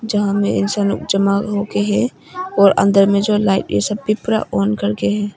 यहां मैं इंसान लोग जमा होकर है और अंदर में जो लाइटें सब भी पूरा ऑन करके है।